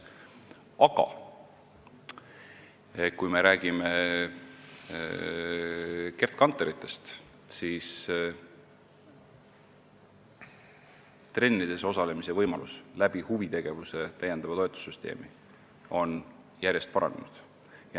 Aga kui me räägime Gerd Kanteritest, siis tänu täiendavale huvitegevuse toetussüsteemile on trennides osalemise võimalused järjest paranenud.